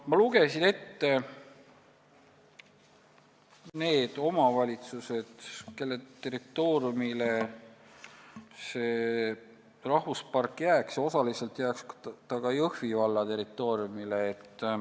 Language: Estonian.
Ma lugesin ette need omavalitsused, kelle territooriumile see rahvuspark jääks, ja osaliselt jääks see ka Jõhvi valla territooriumile.